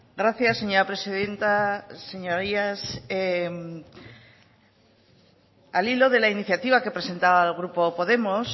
gracias señora presidenta señorías al hilo de la iniciativa que presentaba el grupo podemos